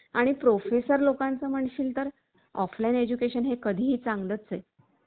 Chat GPT सांगायचं झालं तर, Chat GPT मुळे आपल्याला खूप माहिती भेटते. सर्वसामान्यांच्या कुतूहलाचं हा एक मोठी प्रणाली आहे.